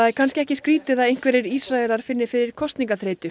er kannski ekki skrýtið að einhverjir Ísraelar finni fyrir